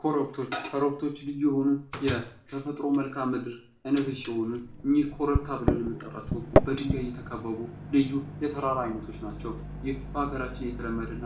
ኮረብቶች ፦ ኮረብቶች ልዩ የሆኑ የተፈጥሮ መልካም ምድር ዓይነቶች ሲሆኑ እኝህ ኮረብታ ብለን የምንጠራቸው በድንጋይ የተከበቡ ልዩ የተራራ አይነቶች ናቸው ። ይህ በሀገራችን የተለመደ እና